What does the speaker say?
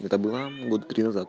это была года три назад